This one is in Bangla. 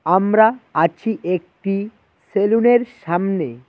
আমরা আছি একটি সেলুনের সামনে।